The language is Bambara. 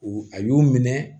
U a y'o minɛ